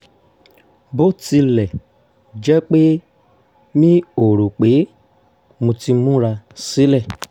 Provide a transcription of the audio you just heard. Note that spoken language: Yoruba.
bó tilẹ̀ jẹ́ pé mi ò rò pé mo ti múra sílẹ̀